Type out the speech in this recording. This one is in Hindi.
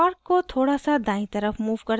अब park को थोड़ा now दायीं तरफ move करते हैं